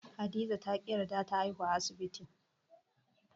Hadiza ta ƙi yarda ta haihuwa a asibti.